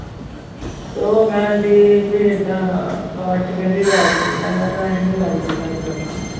ਤੇ ਉਹ ਕਹਿੰਦੀ ਵੀ ਏਦਾਂ caste ਕਹਿੰਦੀ ਰਾਜਪੂਤ ਆ ਮੈਂ ਕਿਹਾ ਅਸੀਂ ਨੀ ਰਾਜਪੂਤਾਂ ਚ ਕਰਨਾ।